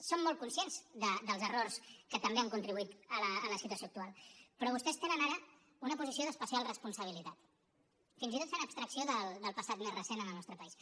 som molt conscients dels errors que també han contribuït a la situació actual però vostès tenen ara una posició d’especial responsabilitat fins i tot fent abstracció del passat més recent en el nostre país